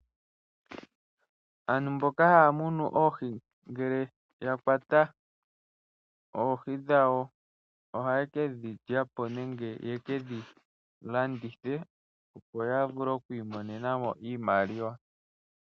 Aantu mboka haya munu oohi ngele ya kwata oohi dhawo ohaye ke dhi lya po nenge ye ke dhi landithe, opo ya vule oku imonena mo iimaliwa.